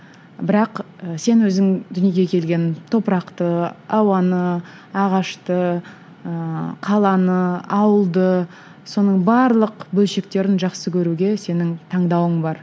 бірақ сен өзің дүниеге келген топырақты ауаны ағашты ыыы қаланы ауылды соның барлық бөлшектерін жақсы көруге сенің таңдауың бар